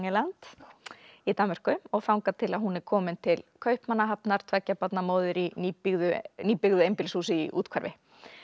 Langeland í Danmörku og þangað til hún er komin til Kaupmannahafnar tveggja barna móðir í nýbyggðu nýbyggðu einbýlishúsi í úthverfi